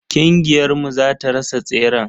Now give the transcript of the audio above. Kingiyar mu zata rasa tseren.